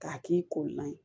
K'a k'i kolan ye